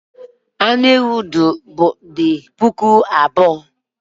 Anụ ewu dị puku abụọ